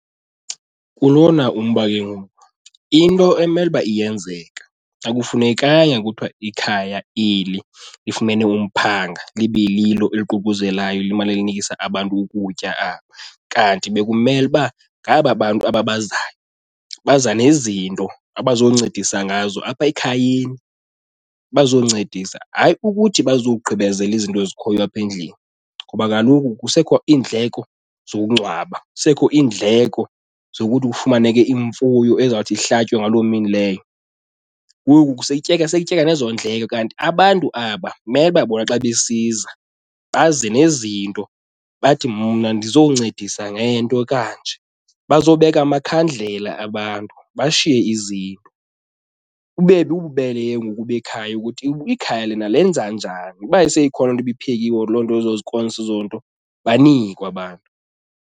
Kulona umba ke ngoku into ekumele uba iyenzeka akufunekanga kuthiwa ikhaya eli lifumene umphanga libe lilo eliququzelayo limane linikisa abantu ukutya aba. Kanti bekumele uba ngaba bantu aba bazayo baza nezinto abazoncedisa ngazo apha ekhayeni bazoncedisa, hayi ukuthi bazogqibezela izinto ezikhoyo apha endlini ngoba kaloku kusekho iindleko zokungcwaba, kusekho iindleko zokuthi kufumaneke imfuyo ezawuthi ihlatywe ngaloo mini leyo. Ngoku seyityeka sekutyeka nezo ndleko kanti abantu aba mele uba bona xa besiza baze nezinto bathi mna ndizoncedisa ngento ekanje, bazobeka amakhandlela abantu bashiye izinto. Bube bububele ke ngoku bekhaya ukuthi ikhaya lona lenza njani, uba seyikhona loo nto ibiphekiwe or loo nto, ezo scones ezo nto banikwe abantu.